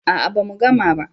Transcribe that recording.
a'a ba mu gama ba